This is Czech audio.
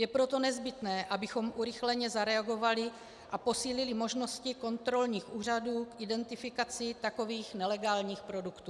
Je proto nezbytné, abychom urychleně zareagovali a posílili možnosti kontrolních úřadů k identifikaci takových nelegálních produktů.